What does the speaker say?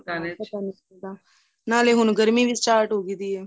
ਹਾਂ ਪਤਾ ਨਹੀਂ ਚੱਲਦਾ ਨਾਲੇ ਹੁਣ ਗਰਮੀਂ ਵੀ start ਹੋ ਗਈ ਏ